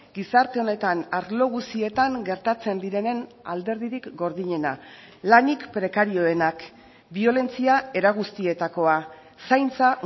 gizarte honetan arlo guztietan gertatzen direnen alderdirik gordinena lanik prekarioenak biolentzia era guztietakoa zaintza